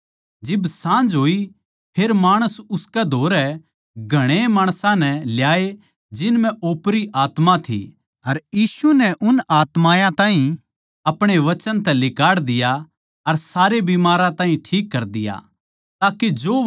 जिब साँझ होई फेर माणस उसके धोरै घणेए माणसां नै ल्याए जिन म्ह ओपरी आत्मा थी अर यीशु नै उन आत्मायाँ ताहीं अपणे वचन तै लिकाड़ दिया अर सारे बिमारां ताहीं ठीक कर दिया